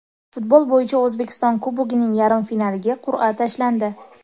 Futbol bo‘yicha O‘zbekiston Kubogining yarim finaliga qur’a tashlandi.